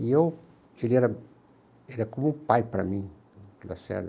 E eu, e ele era, ele é como um pai para mim, da Lacerda.